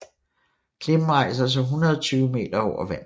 Klippen rejser sig 120 m over vandet